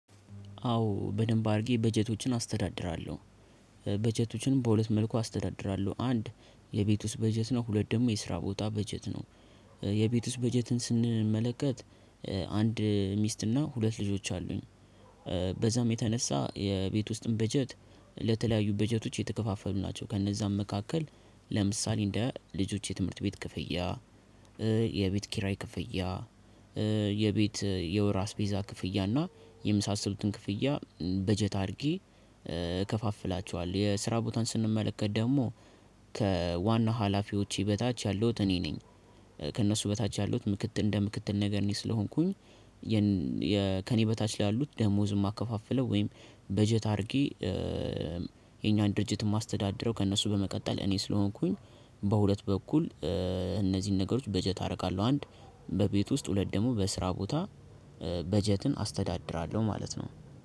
አዎ በደንብ አድርጌ በጀቶችን አስተዳድራለሁ። በጀቶችን በሁለት መልኩ አስተዳድራለው አንድ የቤት ውስት በጀት ነው ሁለት ደግሞ የስራ ቦታ በጀት ነው። የቤት ውስጥ በጀትን ስንመለከት። አንድ ሚስትና ሁለት ልጆች አሉኝ። በዛም የተነሳ የቤት ውስጥን በጀት ለተለያዩ በጀቶች የተከፋፈሉ ናቸው። ከነዛም መካከል ለምሳሌ እንደ ልጆች የትምህርት ቤት ክፍያ የቤት ኪራይ ክፍያ የቤት የወር አስቤዛ ክፍያ እና የመሳሰሉትን ክፍያ በጀት አድርጌ። እከፋፍላቸዋል የስራ ቦታን ስንመለከት ደግሞ ከዋና ሀላፊዎቼ በታች ያለሁት እኔ ነኝ። ከእነሱ በታች ያለውት ምክትል እንደ ምክትል ነገር እኔ ስለሆንኩኝ። ከእኔ በታች ላሉት ደሞዝ የማከፋፍለው ወይም በጀት አድርጌ የኛን ድርጅት የማስተዳድረው ከእነሱ በመቀጠል እኔ ስለሆንኩኝ። በሁለት በኩል እነዚህን ነገሮች በጀት አደርጋለሁ። አንድ በቤት ውስጥ ሁለት ደግሞ በስራ ቦታ በጀትን አስተዳድራለው ማለት ነው።